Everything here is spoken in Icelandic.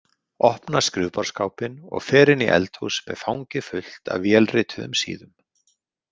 Opna skrifborðsskápinn og fer inn í eldhús með fangið fullt af vélrituðum síðum.